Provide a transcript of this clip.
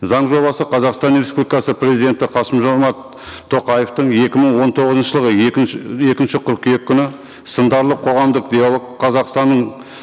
заң жобасы қазақстан республикасы президенті қасым жомарт тоқаевтың екі мың он тоғызыншы жылғы екінші қыркүйек күні сындарлы қоғамдық диалог қазақстанның